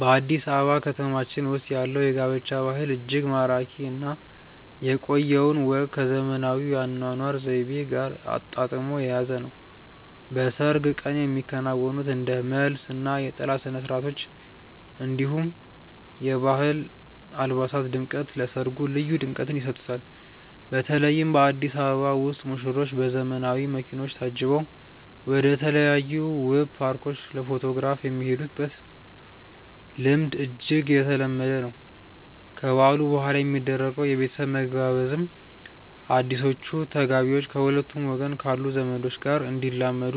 በአዲስ አበባ ከተማችን ውስጥ ያለው የጋብቻ ባህል እጅግ ማራኪ እና የቆየውን ወግ ከዘመናዊው የአኗኗር ዘይቤ ጋር አጣጥሞ የያዘ ነው። በሰርግ ቀን የሚከናወኑት እንደ መልስ እና የጥላ ስነስርዓቶች፣ እንዲሁም የባህል አልባሳት ድምቀት ለሰርጉ ልዩ ድምቀትን ይሰጡታል። በተለይ በአዲስ አበባ ውስጥ ሙሽሮች በዘመናዊ መኪኖች ታጅበው ወደተለያዩ ውብ ፓርኮች ለፎቶግራፍ የሚሄዱበት ልምድ እጅግ የተለመደ ነው። ከበዓሉ በኋላ የሚደረገው የቤተሰብ መገባበዝም አዲሶቹ ተጋቢዎች ከሁለቱም ወገን ካሉ ዘመዶች ጋር እንዲላመዱ